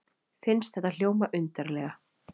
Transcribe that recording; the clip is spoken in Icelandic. Finnst þetta hljóma undarlega.